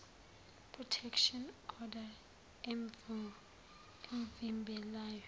protection order emvimbelayo